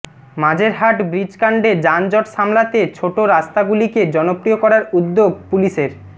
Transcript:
Majerhat bridge কাণ্ডে যানজট সামলাতে ছোট রাস্তাগুলিকে জনপ্রিয় করার উদ্যোগ পুলিশের